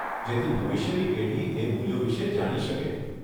જેથી ભવિષ્યની પેઢી એ મૂલ્યો વિષે જાણી શકે.